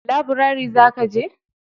Labirari zaka je?